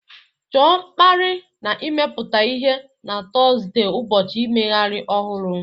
Chọọ mkpali na imepụta ihe na Tọzdee, ụbọchị mmeghari ohuru